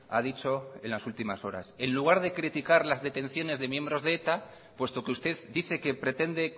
ha dicho en las últimas horas en lugar de criticar las detenciones de miembros de eta puesto que usted dice que pretende